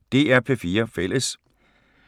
DR P4 Fælles